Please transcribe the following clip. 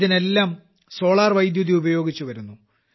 ഇതിനെല്ലാം സോളാർ വൈദ്യുതി ഉപയോഗിച്ചു വരുന്നു